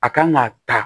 A kan ka ta